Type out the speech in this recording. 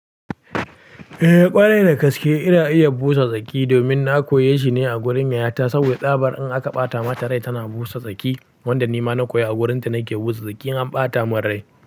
Eh ƙwarai da gaske ina iya busa tsaki domin na koyi shi ne a wurin yayata. Saboda ɗabar in aka ɓata mata rai tana busa tsaki. Wanda ni ma na koyi a wurinta nake busa tsaki in an ɓata mun rai.